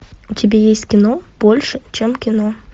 у тебя есть кино больше чем кино